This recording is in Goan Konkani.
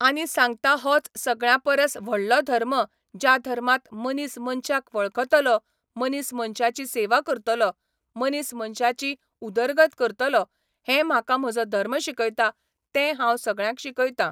आनी सांगता होच सगळ्यां परस व्हडलो धर्म ज्या धर्मांत मनीस मनशांक वळखतलो मनीस मनशाची सेवा करतलो मनीस मनशाची उदरगत करतलो हें म्हाका म्हजो धर्म शिकयता तें हांव सगळ्यांक शिकयतां.